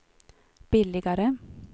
billigare